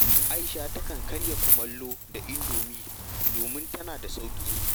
Aisha takan karya kumallo da indomi domin tana da sauƙi